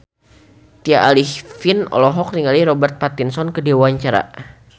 Tya Arifin olohok ningali Robert Pattinson keur diwawancara